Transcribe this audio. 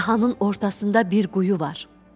Kahanın ortasında bir quyu var.